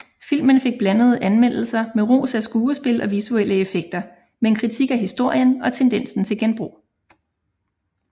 Filmen fik blandede anmeldelser med ros af skuespil og visuelle effekter men kritik af historien og tendensen til genbrug